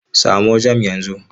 Samo jam yanzu!